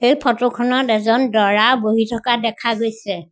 এই ফটো খনত এজন দৰা বহি থকা দেখা গৈছে।